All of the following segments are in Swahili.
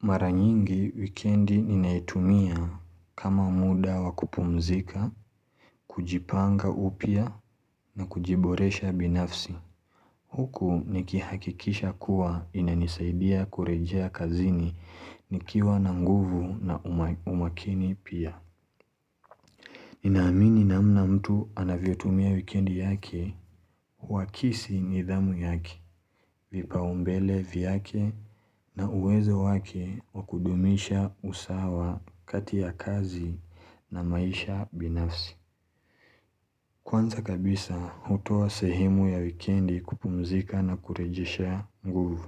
Mara nyingi wikendi ninaitumia kama muda wa kupumzika, kujipanga upya na kujiboresha binafsi. Huku nikihakikisha kuwa inanisaidia kurejea kazini nikiwa na nguvu na umakini pia. Nina amini namna mtu anavyotumia wikendi yake, uhakisi nidhamu yake, vipaumbele vyake na uwezo wake wa kudumisha usawa kati ya kazi na maisha binafsi. Kwanza kabisa, hutoa sehemu ya wikendi kupumzika na kurejeshea nguvu.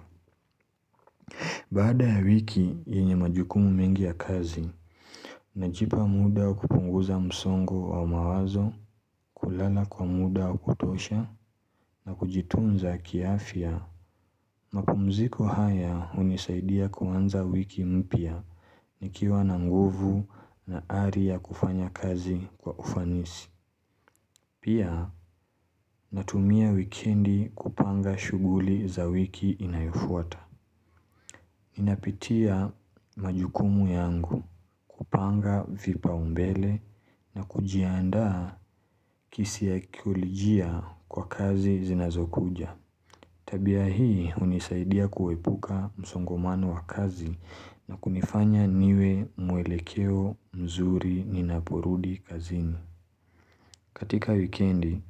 Baada ya wiki yenye majukumu mengi ya kazi, najipa muda wa kupunguza msongo wa mawazo, kulala kwa muda wa kutosha, na kujitunza kiafya. Mapumziko haya hunisaidia kuanza wiki mpya, nikiwa na nguvu na ari ya kufanya kazi kwa ufanisi. Pia, natumia wikendi kupanga shughuli za wiki inayofuata. Ninapitia majukumu yangu kupanga vipaumbele na kujiandaa kisaikolojia kwa kazi zinazokuja. Tabia hii hunisaidia kuepuka msongomano wa kazi na kunifanya niwe mwelekeo mzuri ninaporudi kazini. Katika wikendi,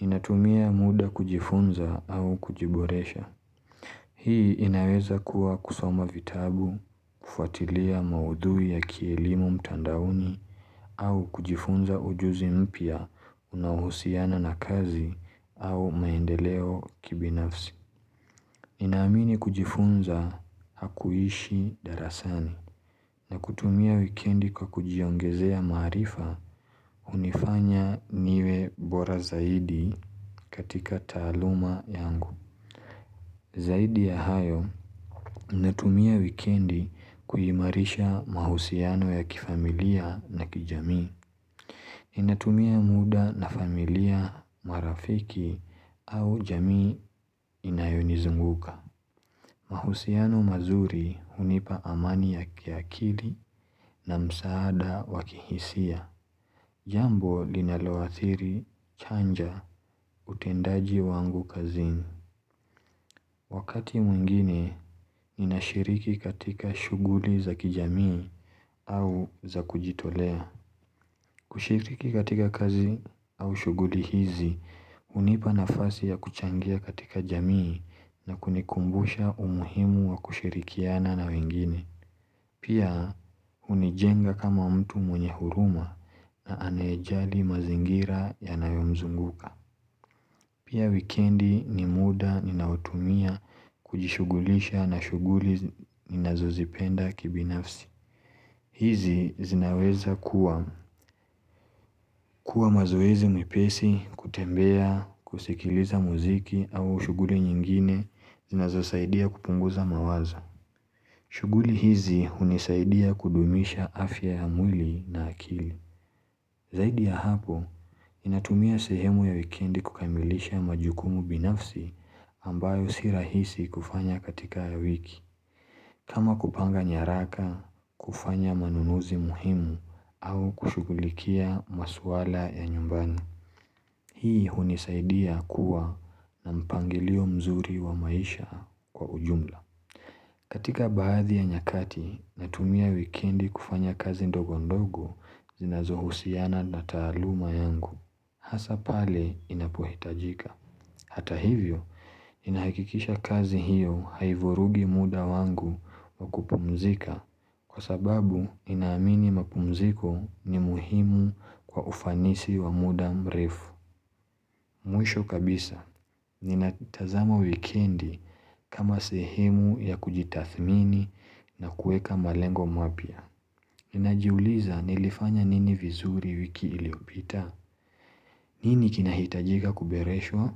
ninatumia muda kujifunza au kujiboresha. Hii inaweza kuwa kusoma vitabu, kufwatilia maudhui ya kielimo mtandaoni au kujifunza ujuzi mpya unaohusiana na kazi au maendeleo kibinafsi. Ninaamini kujifunza hakuishi darasani na kutumia wikendi kwa kujiongezea maarifa hunifanya niwe bora zaidi katika taaluma yangu. Zaidi ya hayo, ninatumia wikendi kuimarisha mahusiano ya kifamilia na kijamii. Ninatumia muda na familia, marafiki au jamii inayonizunguka. Mahusiano mazuri hunipa amani ya kiakili na msaada wa kihisia. Jambo linaloathiri chanja utendaji wangu kazini. Wakati mwingine, ninashiriki katika shughuli za kijamii au za kujitolea. Kushiriki katika kazi au shughuli hizi, hunipa nafasi ya kuchangia katika jamii na kunikumbusha umuhimu wa kushirikiana na wengine. Pia, hunijenga kama mtu mwenye huruma na anayejali mazingira yanayomzunguka. Pia wikendi ni muda ninaotumia kujishugulisha na shughuli ninazozipenda kibinafsi. Hizi zinaweza kuwa mazoezi mepesi, kutembea, kusikiliza muziki au shughuli nyingine zinazosaidia kupunguza mawazo. Shughuli hizi hunisaidia kudumisha afya ya mwili na akili. Zaidi ya hapo, ninatumia sehemu ya wikendi kukamilisha majukumu binafsi ambayo si rahisi kufanya katika wiki. Kama kupanga nyaraka, kufanya manunuzi muhimu au kushughulikia maswala ya nyumbani. Hii hunisaidia kuwa na mpangilio mzuri wa maisha kwa ujumla. Katika baadhi ya nyakati, natumia wikendi kufanya kazi ndogo ndogo zinazohusiana na taaluma yangu. Hasaa pale ninapohitajika. Hata hivyo, ninahakikisha kazi hiyo haivurugi muda wangu wa kupumzika kwa sababu ninaamini mapumziko ni muhimu kwa ufanisi wa muda mrefu. Mwisho kabisa, ninatazama wikendi kama sehemu ya kujitathmini na kuweka malengo mapya. Ninajiuliza nilifanya nini vizuri wiki iliopita? Nini kinahitajika kuboreshwa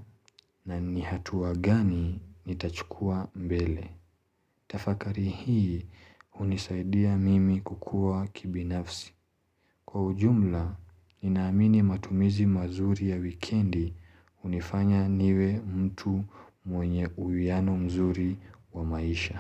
na ni hatua gani nitachukua mbele. Tafakari hii hunisaidia mimi kukua kibinafsi. Kwa ujumla, ninaamini matumizi mazuri ya wikendi hunifanya niwe mtu mwenye uwiano mzuri wa maisha.